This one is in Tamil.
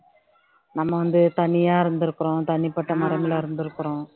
நம்ம வந்து தனியா இருந்திருக்கிறோம் தனிப்பட்ட இருந்திருக்கிறோம்